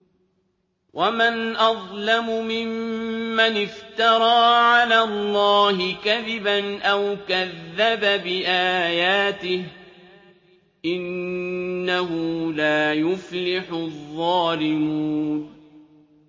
وَمَنْ أَظْلَمُ مِمَّنِ افْتَرَىٰ عَلَى اللَّهِ كَذِبًا أَوْ كَذَّبَ بِآيَاتِهِ ۗ إِنَّهُ لَا يُفْلِحُ الظَّالِمُونَ